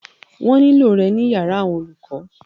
Wọ́n ní lò rẹ ní yàrá àwọn olùkọ.